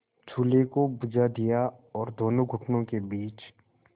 चूल्हे को बुझा दिया और दोनों घुटनों के बीच